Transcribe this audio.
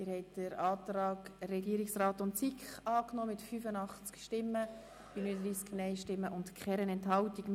Sie haben den Antrag Regierungsrat/SiK angenommen mit 85 Ja- gegen 39 Nein-Stimmen bei keiner Enthaltung.